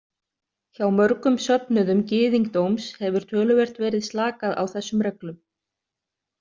Hjá mörgum söfnuðum gyðingdóms hefur töluvert verið slakað á þessum reglum.